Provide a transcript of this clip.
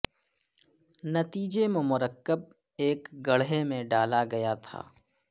نتیجے میں مرکب ایک گڑھے میں ڈالا گیا تھا